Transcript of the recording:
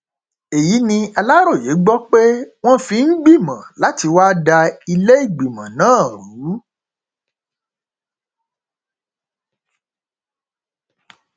èyí ni aláròye gbọ pé wọn fi ń gbìmọ láti wáá da ìlẹgbẹmọ náà rú